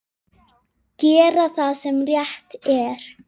Gera það sem rétt er.